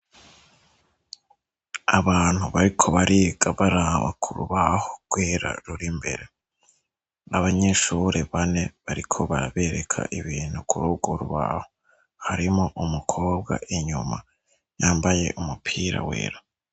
Abantu bariko bariga baraba k'urubaho kuko rur'imbere n'abanyeshure bane bariko barabereka ibintu kur'urworubaho. Harimwo umukobwa inyuma yambaye umupira wera.